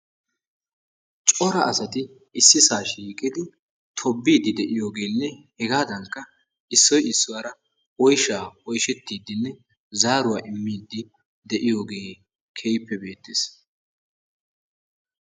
cora asati issisaa shiiqidi tobiidi de'iyoogeenne hegaadankka issoy issuwara oyshaa oyshettidinne zaaruwa immidi de'iyogee keehippe beetees.